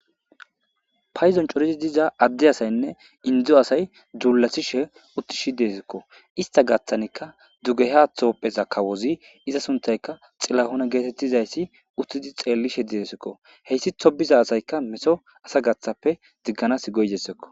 paydon coridi diza adde asaynne indzdzo asay duulathishe utti shi deesikko ista gaththanikka dugeha thoppheza kawozi iza suntayka xillahuna geetettizayssi uttidi xeellishe diesikko heysatho diza asayka meto asa gaththappe digganas go'izaysakko